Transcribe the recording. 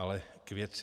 Ale k věci.